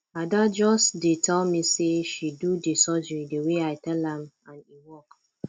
ada just dey tell me say she do the surgery the way i tell am and e work